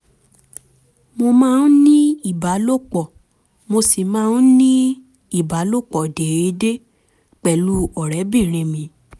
mo máa ń ní ìbálòpọ̀ mo sì máa ń ní ìbálòpọ̀ déédéé pẹ̀lú ọ̀rẹ́bìnrin mi